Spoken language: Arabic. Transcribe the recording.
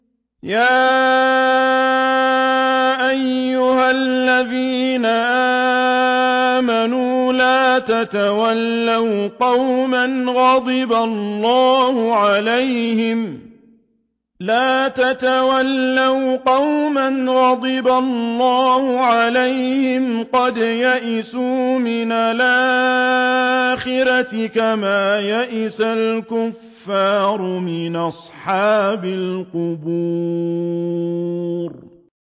يَا أَيُّهَا الَّذِينَ آمَنُوا لَا تَتَوَلَّوْا قَوْمًا غَضِبَ اللَّهُ عَلَيْهِمْ قَدْ يَئِسُوا مِنَ الْآخِرَةِ كَمَا يَئِسَ الْكُفَّارُ مِنْ أَصْحَابِ الْقُبُورِ